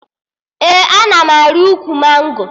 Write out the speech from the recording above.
Ee, ana m arị ukwu mango